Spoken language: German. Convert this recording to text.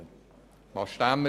Wo sind wir heute?